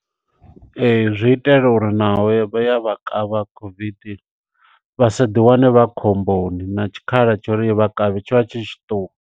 Ee zwi itela uri naho ya vha ya vha kavha COVID, vhasa ḓi wane vha khomboni, na tshikhala tsho uri i vha kavhe tshivha tshi tshiṱuku.